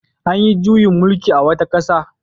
An yi juyin mullki a wata ƙasa.